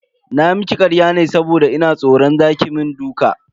Na miki karya ne saboda ina tsoran za ki mun duka